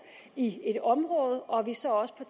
i et område og at det så også på